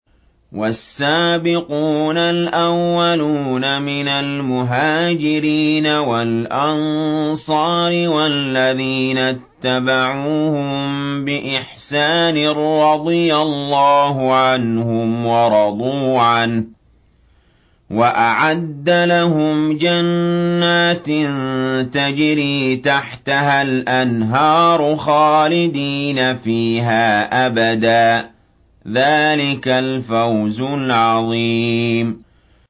وَالسَّابِقُونَ الْأَوَّلُونَ مِنَ الْمُهَاجِرِينَ وَالْأَنصَارِ وَالَّذِينَ اتَّبَعُوهُم بِإِحْسَانٍ رَّضِيَ اللَّهُ عَنْهُمْ وَرَضُوا عَنْهُ وَأَعَدَّ لَهُمْ جَنَّاتٍ تَجْرِي تَحْتَهَا الْأَنْهَارُ خَالِدِينَ فِيهَا أَبَدًا ۚ ذَٰلِكَ الْفَوْزُ الْعَظِيمُ